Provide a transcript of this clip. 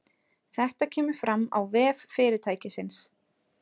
Þetta kemur fram á vef fyrirtækisins